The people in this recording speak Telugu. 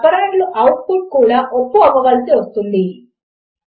వారు ఎంటర్ చేయకపోతే యూజర్నేమ్ మరియు పాస్వర్డ్ లను పోల్చి చూడడములో అర్ధము లేదు